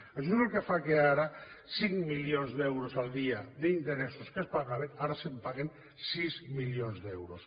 això és el que fa que ara de cinc milions d’euros al dia d’interessos que es pagaven ara se’n paguin sis milions d’euros